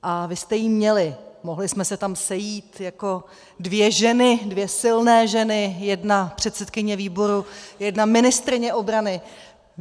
A vy jste ji měli, mohli jsme se tam sejít jako dvě ženy, dvě silné ženy, jedna předsedkyně výboru, jedna ministryně obrany.